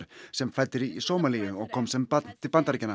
sem fædd er í Sómalíu og kom sem barn til Bandaríkjanna